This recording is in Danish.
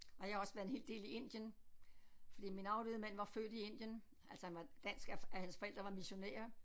Og jeg har også været en hel del i Indien fordi min afdøde mand var født i Indien altså han var dansk hans forældre var missionærer